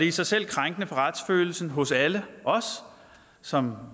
i sig selv krænkende for retsfølelsen hos alle os som